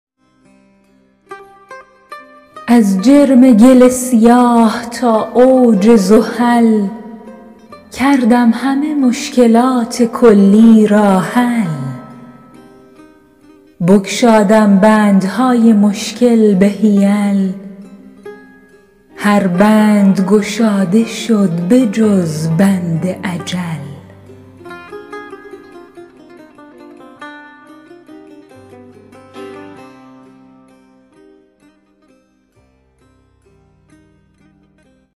از جرم گل سیاه تا اوج زحل کردم همه مشکلات کلی را حل بگشادم بندهای مشکل به حیل هر بند گشاده شد بجز بند اجل